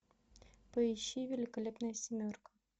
поищи великолепная семерка